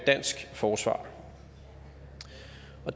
dansk forsvar